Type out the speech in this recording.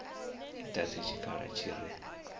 i dadze tshikhala tshi re